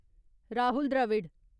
Rahul Dravid